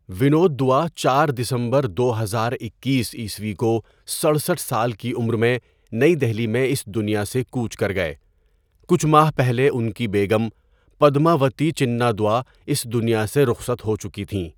ونود دوا چار دسمبر دو ہزار اکیس عیسوی کو سڑسٹھ سال کی عمر میں نئی دہلی میں اس دنیا سے کوچ کر گئے کچھ ماہ پہلے، ان کی بیگم پدماوتی چنا دوا اس دنیا سے رخصت ہوچکی تھیں.